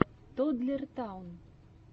тоддлер таун